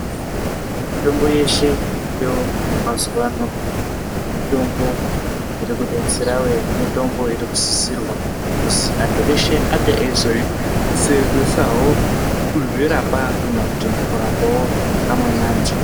Mitombo yeshe iriyo mazuwano mitombo irikudetserawe mitombo inosisira antu eshe ange eizosenzesawo kumherapa kana mukurapawo amweni antu .